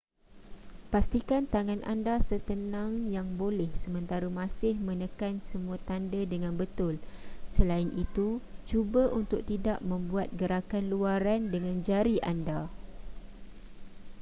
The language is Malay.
pastikan tangan anda setenang yang boleh sementara masih menekan semua tanda dengan betul selain itu cuba untuk tidak membuat gerakan luaran dengan jari anda